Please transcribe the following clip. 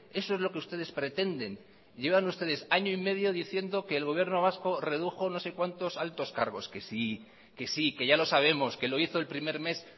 eso es lo que ustedes pretenden llevan ustedes año y medio diciendo que el gobierno vasco redujo no sé cuantos altos cargos que sí que sí que ya lo sabemos que lo hizo el primer mes